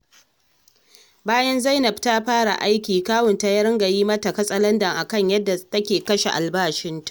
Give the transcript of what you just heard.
Bayan Zainab ta fara aiki, kawunta ya riƙa yi mata katsalandan a kan yadda za ta kashe albashinta